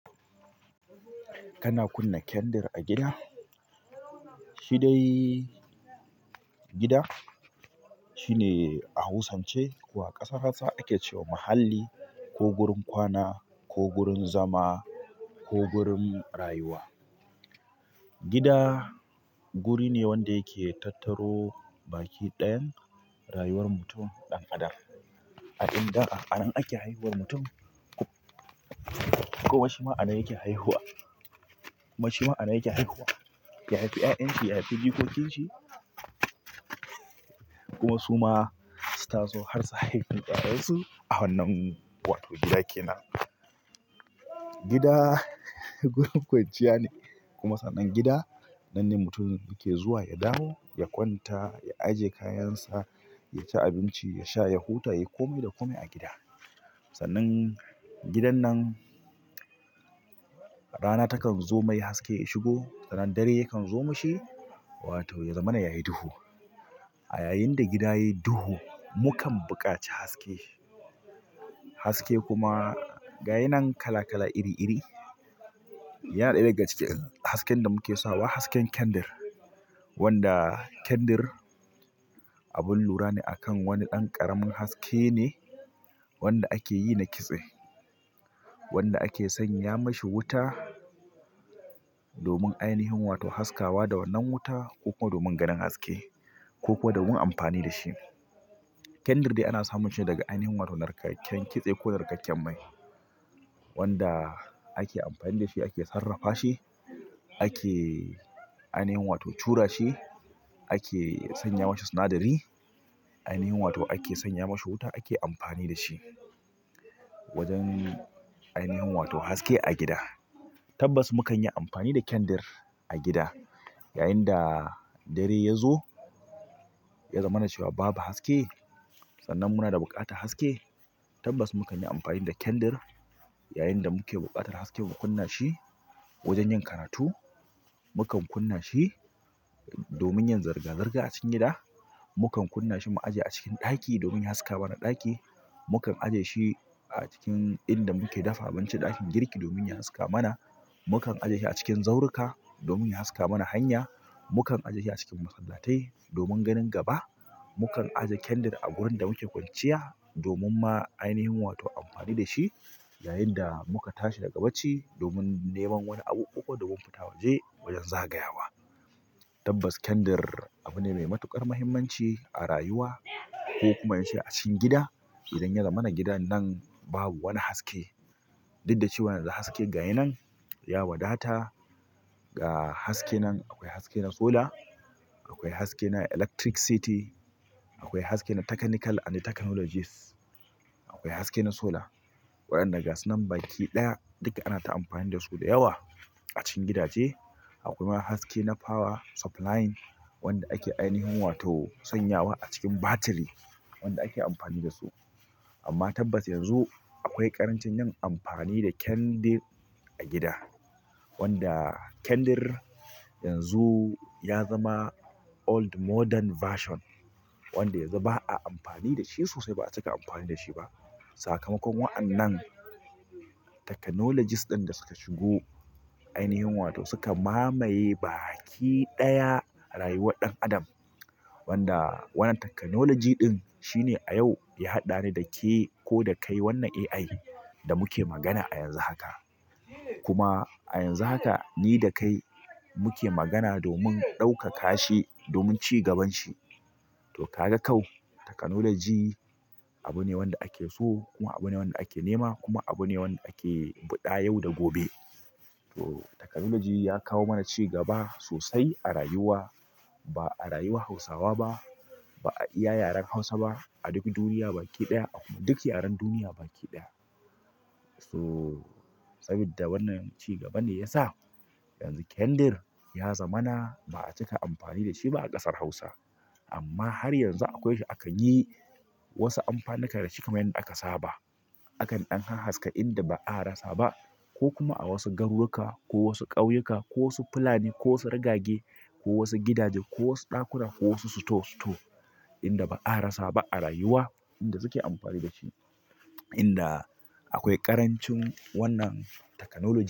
Kan kunna kendir a gida. Shi dai gida shine a hausance ko a ƙasar Hausa ake cewa muhalli ko gurin kwana ko gurin zama ko gurin rayuwa. Gida guri ne wanda yake tattaro baki ɗayan rayuwar mutum ɗan adam. A inda a nan ake haihuwar mutum. Kowa shi ma a nan yake haihuwa. Kuma shi ma a nan yake haihuwa. Ya haifi 'ya'yan shi, ya haifi jikokin shi. Kuma su ma su taso har su haifi ƴaƴansu. A wannan wato gida kenan. Gida wurin kwanciya ne kuma sannan gida nan ne mutum yake zuwa ya dawo, ya kwanta, ya ajiye kayan sa, ya ci abinci, ya sha, ya huta, ya yi kome da kome a gida. Sannan gidan nan rana takan zo mai haske ya shigo, sannan dare yakan zo mashi wato ya zamana yayi duhu. A yayin da gida yayi duhu, mukan buƙaci haske. Haske kuma gayi nan kala-kala iri iri yana ɗaya daga cikin hasken da muke sawa hasken kendar, wanda kendar abun lura ne akan wani ɗan ƙaramin haske ne wanda ake yi na kitse. Wanda ake sanya mashi wuta domin ainihin wato haskawa da wannan wuta ko kuma domin ganin haske ko kuma domin amfani da shi. Kendar dai ana samun shi daga ainihin wato narkaken kitse ko narkaken mai wanda ake amfani da shi, ake sarrafa shi, ake ainihin wato cura shi, ake sanya mashi sanadari, ainihin wato ake sanya mashi wuta ake amfani da shi wajen ainihin wato haske a gida. Tabbas mukan yi amfani da kendar a gida. Yayinda dare ya zo ya zamana cewa babu haske. Sannan munada buƙatar haske. Tabbas mukan yi amfani da kendar yayinda muke buƙatar haske mu kunna shi wajen yin karatu. Mukan kunna shi domin yin zarga zarga a cikin gida. Mukan kunna shi mu ajiye a cikin ɗaki domin ya haska mana ɗaki. Mukan ajiye shi a cikin inda muke dafa abinci ɗakin girki domin ya haska mana. Mukan ajiye shi a cikin zauruka domin ya haska mana hanya. Mukan ajiye shi a cikin masallatai domin ganin gaba. Mukan ajiye kendar a gurin da muke kwanciya domin ma ainihin wato amfani da shi yayinda muka tashi daga bacci domin neman wani abu ko kuma domin fita waje wajen zagayawa. Tabbas kendar abu ne mai matuƙar mahimmanci a rayuwa ko kuma ince a cikin gida. Idan ya zamana gidan nan babu wani haske duk da cewa yanzu haske gashi nan ya wadata. Ga haske nan akwai haske na sola. Akwai haske na electricity. Akwai haske na technical and technologies. Akwai haske na sola waɗanda gasu nan baki ɗaya duka ana ta amfani dasu da yawa a cikin gidaje. Akwai ma haske na power supplying wanda ake ainihin wato sanyawa a cikin batiri wanda ake amfani da su. Amma tabbas yanzu akwai ƙarancin yin amfani da kendir a cikin gida. Wanda kendar yanzu ya zama old modern version wanda yanzu ba a amfani da shi sosai ba a cika amfani da shi ba. Sakamakon wa'annan technologies ɗin da suka shigo ainihin wato suka mamaye baki ɗaya a rayuwar ɗan adam. Wanda wannan technology ɗin shine a yau ya haɗa ni da ke ko da kai wannan AI da muke magana a yanzu haka. Kuma a yanzu haka ni da kai muke magana domin ɗaukaka shi domin cigaban shi. To ka ga kau technology abu ne wanda ake so kuma abu ne wanda ake nema kuma abu ne wanda ake biɗa yau da gobe. To technology ya kawo mana cigaba sosai a rayuwa. Ba a rayuwar Hausawa ba, ba a iya yaren Hausa ba. A duk duniya baki ɗaya. Ah ko duk yaren duniya baki ɗaya. So sabida wannan cigaba ne ya sa yanzu kendar ya zamana ba a cika amfani da shi ba a ƙasar Hausa. Amma har yanzu akwai shi akan yi wasu amfanunka da shi kamar yanda aka saba. Akan ɗan ha haska inda ba a rasa ba ko kuma a wasu garuruka ko wasu ƙauyuka ko wasu fulani ko wasu rigage ko wasu gidaje ko wasu ɗakuna ko wasu sito sito inda ba a rasa ba a rayuwa inda suke amfani da shi. Inda akwai ƙarancin wannan technology.